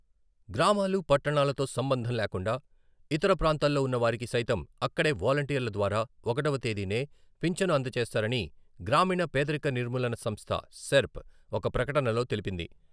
గ్రామాలు, పట్టణాలతో సంబంధం లేకుండా ఇతర ప్రాంతాల్లో ఉన్న వారికి సైతం అక్కడే వాలంటీర్ల ద్వారా ఒకటవ తేదీనే ఫించను అందజేస్తారని గ్రామీణ పేదరిక నిర్మూలన సంస్థ సెర్ప్ ఒక ప్రకటనలో తెలిపింది.